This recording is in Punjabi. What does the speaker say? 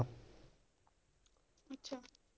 ਅੱਛਾ